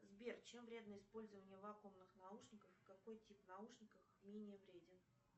сбер чем вредно использование вакуумных наушников и какой тип наушников менее вреден